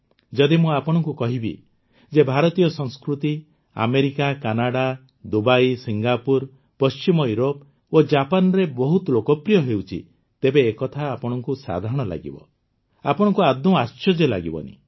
ଯଦି ମୁଁ ଆପଣଙ୍କୁ କହିବି ଯେ ଭାରତୀୟ ସଂସ୍କୃତି ଆମେରିକା କାନାଡା ଦୁବାଇ ସିଙ୍ଗାପୁର ପଶ୍ଚିମ ଇଉରୋପ ଓ ଜାପାନରେ ବହୁତ ଲୋକପ୍ରିୟ ହେଉଛି ତେବେ ଏକଥା ଆପଣଙ୍କୁ ବହୁତ ସାଧାରଣ ଲାଗିବ ଆପଣଙ୍କୁ ଆଦୌ ଆଶ୍ଚର୍ଯ୍ୟ ଲାଗିବ ନାହିଁ